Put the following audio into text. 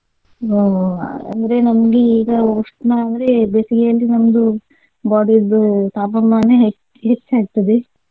ಅಹ್ ಅಂದ್ರೆ ನಮ್ಗೆ ಉಷ್ಣ ಅಂದ್ರೆ ಬೇಸಿಗೆಯಲ್ಲಿ ನಮ್ದು body ದ್ದು ತಾಪಮಾನ ಹೆಚ್ಚ್~ ಹೆಚ್ಚಾಗ್ತದೆ.